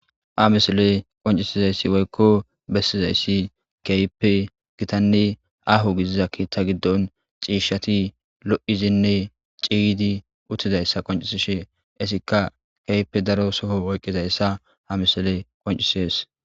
Ha misiley qoncizays woyko bedizays keehippe gitanne aaho gidiza ketha giddon cishat lo'dinne ciyid utidaysa qonciseshe etika keehippe daro Soho oykidaysa ha misiley qoncises.